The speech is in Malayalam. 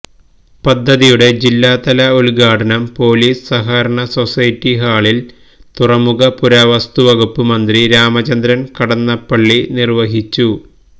പദ്ധതിയുടെ ജില്ലാതല ഉദ്ഘാടനം പൊലീസ് സഹകരണ സൊസൈറ്റി ഹാളില് തുറമുഖ പുരാവസ്തു വകുപ്പ് മന്ത്രി രാമചന്ദ്രന് കടന്നപ്പള്ളി നിര്വഹിച്ചു